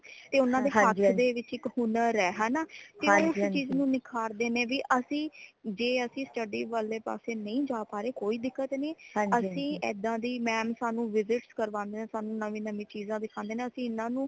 ਇਹ ਉਨ੍ਹਾਂ ਦੇ ਹੱਥ ਦੇ ਵਿੱਚ ਇੱਕ ਹੁਨਰ ਹੈ ਹੈ ਨਾ ਤੇ ਉਸ ਚੀਜ਼ ਨੂ ਨਿਖਾਰਦੇ ਨੇ ਵੇ ਅਸੀਂ ਜੇ ਅਸੀਂ study ,ਵਾਲੇ ਪਾਸੇ ਨਈ ਜਾ ਪਾ ਰਏ ਕੋਈ ਦਿੱਕਤ ਨਹੀਂ ਅਸੀਂ ਏਦਾਂ ਦੀ mam ਸਾਨੂ visit ਕਰਵਾਂਦੇ ਨੇ ਸਾਨੂ ਨਵੀ ਨਵੀ ਚੀਜ਼ਾਂ ਦਿਖਾਂਦੇ ਨੇ ਅਸੀਂ ਏਨਾ ਨੂੰ